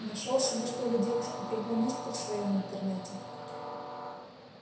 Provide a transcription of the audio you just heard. нашёл себе что ли девушку-программистку в своём интернете